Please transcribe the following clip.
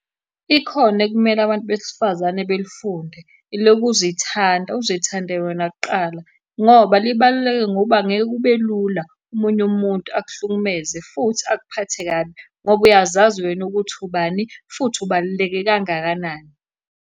Ikhono ekumele abantu besifazane belifunde, elokuzithanda. Uzithande wena kuqala, ngoba libaluleke ngoba angeke kube lula omunye umuntu akuhlukumeze, futhi akuphathe kabi ngoba uyazazi wena ukuthi ubani, futhi ubaluleke kangakanani.